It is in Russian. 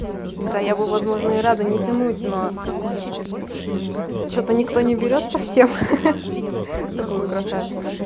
да я бы возможно и рада не тянуть но что-то никто не берёт совсем такую красавицу